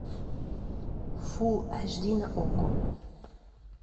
фулл аш ди на окко